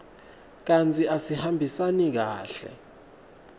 kantsi asihambisani kahle